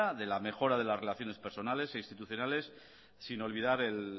de la mejora de las relaciones personales e institucionales sin olvidar el